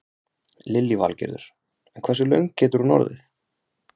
Lillý Valgerður: En hversu löng getur hún orðið?